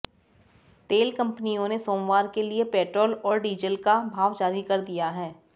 तेल कंपनियों ने सोमवार के लिए पेट्रोल और डीज़ल का भाव जारी कर दिया है